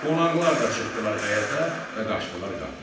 Qonaqlar da çıxdılar həyətə və qaçdılar qapıya.